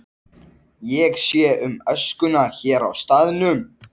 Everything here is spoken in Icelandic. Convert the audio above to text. Ég sé um öskuna hér á staðnum.